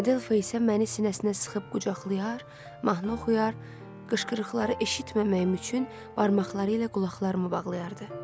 Adelfa isə məni sinəsinə sıxıb qucaqlayar, mahnı oxuyar, qışqırıqları eşitməməyim üçün barmaqları ilə qulaqlarımı bağlayardı.